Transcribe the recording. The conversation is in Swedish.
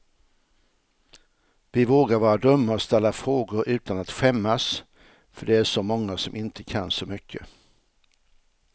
Vi vågar vara dumma och ställa frågor utan att skämmas, för det är så många som inte kan så mycket.